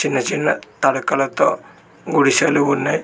చిన్న చిన్న తడకలతో గుడిసెలు ఉన్నాయి.